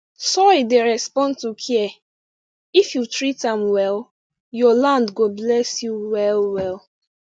soil dey respond to care if you treat am well your land go bless you well well